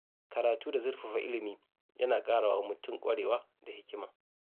Karatu da zurfafa ilimi yana ƙara wa mutum ƙwarewa da hikima.